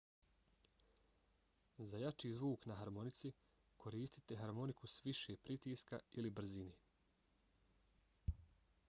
za jači zvuk na harmonici koristite harmoniku s više pritiska ili brzine